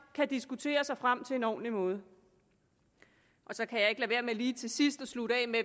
kunne diskutere sig frem til en ordentlig måde så kan jeg ikke lade være med lige til sidst at slutte af med